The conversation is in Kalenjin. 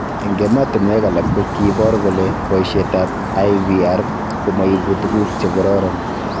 Eng' ematinwek alak ko kipor kole poishet ab IVR komoipu tuguk che kororon